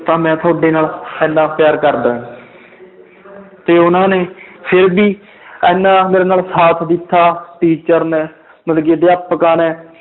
ਤਾਂ ਮੈਂ ਤੁਹਾਡੇ ਨਾਲ ਇੰਨਾ ਪਿਆਰ ਕਰਦਾ ਹੈ ਤੇ ਉਹਨਾਂ ਨੇ ਫਿਰ ਵੀ ਇੰਨਾ ਮੇਰੇ ਨਾਲ ਸਾਥ ਦਿੱਤਾ teacher ਨੇ ਮਤਲਬ ਕਿ ਅਧਿਆਪਕਾਂ ਨੇ